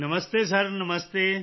ਨਮਸਤੇ sir ਨਮਸਤੇ